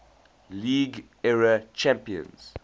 league era champions